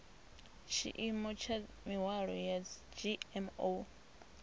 tshiimo tsha mihwalo ya dzgmo